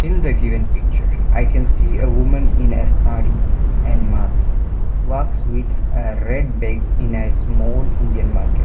in the given picture i can see a women in the saree and mask walks with a red bag in small indian market.